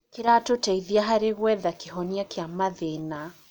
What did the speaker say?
Kĩratũteithia harĩ gwetha kĩhonia kĩa mathĩna.